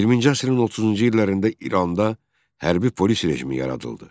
20-ci əsrin 30-cu illərində İranda hərbi polis rejimi yaradıldı.